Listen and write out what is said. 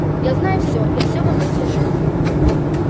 я знаю всё я всё вам расскажу